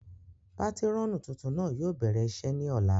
Patirọnu tuntun náà yóò bẹrẹ iṣe ni ọla